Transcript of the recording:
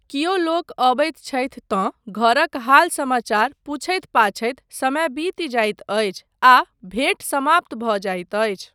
कियो लोक अबैत छथि तँ घरक हाल समाचार पुछैत पाछैत समय बीति जाइत अछि आ भेट समाप्त भऽ जाइत अछि।